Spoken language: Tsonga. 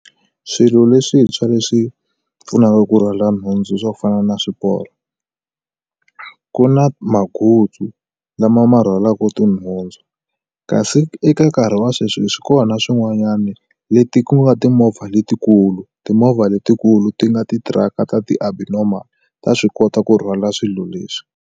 Swilo leswintshwa leswi pfunaka ku rhwala nhundzu swo fana na swiporo ku na mangutsu lama ma rhwalaku tinhundzu kasi eka nkarhi wa sweswi swi kona swin'wanyani leti ku nga timovha letikulu timovha letikulu ti nga ti tirhaka ta ti-abnormal ta swi kota ku rhwala swilo leswi.